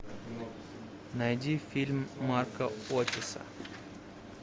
найди фильм марка оттиса